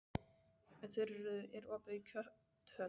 Þuríður, er opið í Kjöthöllinni?